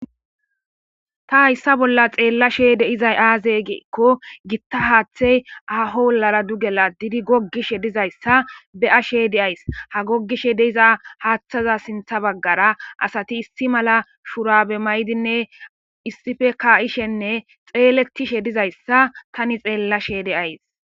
Ta hayssa bolla xeella sheede izay aazegeekko gitta haaththey ahoolara dugela didi gogishe dizayssa be7asheede ays ha gogishe deiza haaththaza sintha baggara asati issi mala shurabe maydinne issife ka7ishenne xeeletishe dizayssa tani xeella sheede ays.